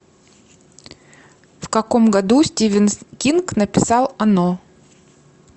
в каком году стивен кинг написал оно